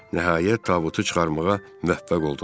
Nəhayət, tabutu çıxarmağa müvəffəq oldular